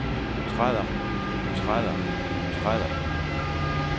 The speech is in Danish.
træder træder træder